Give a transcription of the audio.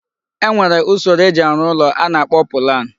E nwere usoro eji arụ ụlọ a na-akpọ pụlan.